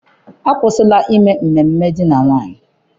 Akwụsịla ime ememe alụmdi na nwunye.